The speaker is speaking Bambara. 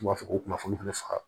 U b'a fɔ ko kunnafoniw bɛɛ faga